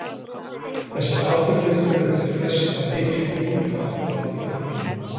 þessir atburðir urðu til þess að mikill ólga varð í landinu